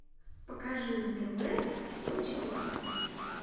покажи на тв сочи лайф